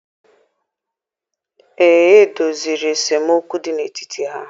Ee, e doziri esemokwu dị n'etiti ha.